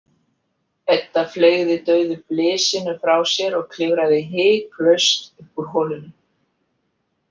Edda fleygði dauðu blysinu frá sér og klifraði hiklaust upp úr holunni.